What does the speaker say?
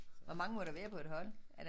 Hvor mange må der være på et hold er der